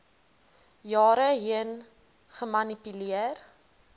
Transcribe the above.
jare heen gemanipuleer